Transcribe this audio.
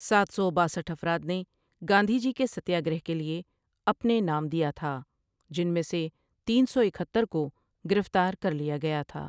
ساتھ سو باسٹھ افراد نے گاندھی جی کے سستیا گرہ کے لیے اپنے نام دیاتھا جن میں سے تین سواکہتر کو گرفتار کر لیا گیا تھا ۔